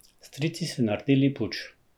Strici so nardili puč.